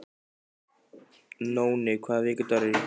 Nóni, hvaða vikudagur er í dag?